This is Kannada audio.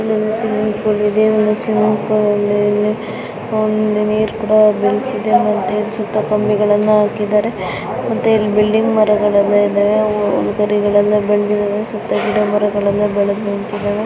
ಇಲ್ಲೊಂದು ಸ್ವಿಮ್ಮಿಂಗ್ ಫುಲ್ ಇದೆ ಸ್ವಿಮ್ಮಿಂಗ್ ಫುಲ್ ಅಲ್ಲಿ ನೀರ ಕೂಡಾ ಬಿಲತಿದೆ ಸುತ್ತ ಗಿಡಗಳು ಇದಾವೆ ಇಲ್ಲಿ